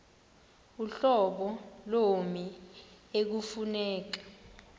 uhlobo lommi ekufuneka